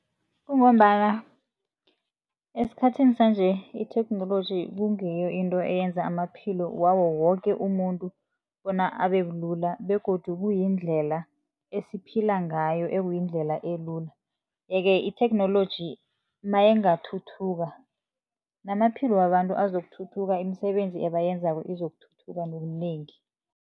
Kungombana esikhathini sanje itheknoloji kungiyo into eyenza amaphilo woke umuntu bona abe bulula begodu kuyindlela esiphila ngayo ekuyindlela elula yeke, itheknoloji nayingathuthuka namaphilo wabantu azokuthuthuka, imisebenzi ebayenzako izokuthutha ngobunengi.